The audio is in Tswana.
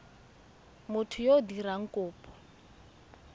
motho yo o dirang kopo